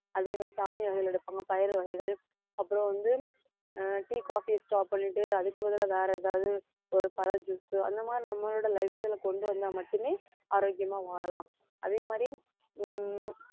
அதே மாதிரி தானிய வகைகள் எடுப்பாங்க பயறு வகைகள் அப்புறம் வந்து ஆஹ் tea coffee யை stop பண்ணிட்டு அதுக்கு பதிலா வேற ஏதாவது ஒரு பழ juice அந்த மாதிரி நம்மளோட lifestyle ல கொண்டு வந்தா மட்டுமே ஆரோக்கியமா வாழலாம் அதே மாதிரி ஹம்